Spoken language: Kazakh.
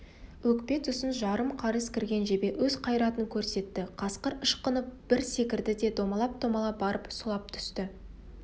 өкпе тұсынан жарым қарыс кірген жебе өз қайратын көрсетті қасқыр ышқынып бір секірді де домалап-домалап барып сұлап түсті